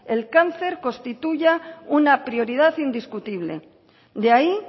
el cáncer constituya una prioridad indiscutible de ahí